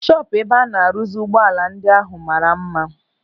Shọpụ ebe a na-rụzi ụgbọala ndị ahụ mara mma.